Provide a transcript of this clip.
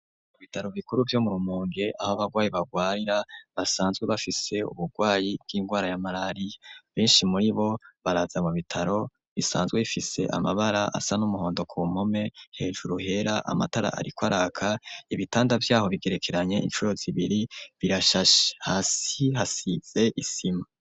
Mu bitaro bikuru vyo mu Rumonge, aho abarwayi barwarira basanzwe bafise uburwayi bw'ingwara ya malariya, benshi muribo baraza mu bitaro, bisanzwe bifise amabara asa n'umuhondo ku mpome, hejuru hera, amatara ariko araka, ibitanda vyaho bigerekeranye incuro zibiri birashashe, hasi hasize isima.